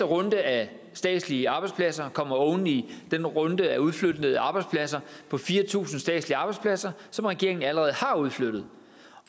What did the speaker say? runde af statslige arbejdspladser kommer oven i den runde af udflyttede arbejdspladser på fire tusind statslige arbejdspladser som regeringen allerede har udflyttet